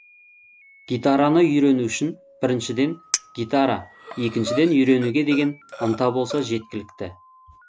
гитараны үйрену үшін біріншіден гитара екіншіден үйренуге деген ынта болса жеткілікті